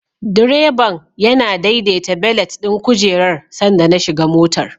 Direban yana daidaita belet ɗin kujerar sanda na shiga motar.